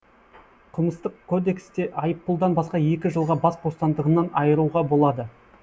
қылмыстық кодексте айыппұлдан басқа екі жылға бас бостандығынан айыруға болады